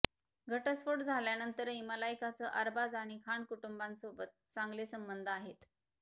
घटस्फोट झाल्यानंतरही मलायकचं अरबाज आणि खान कुटुंबासोबत चांगले संबंध आहेत